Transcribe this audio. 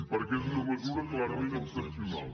perquè és una mesura clarament excepcional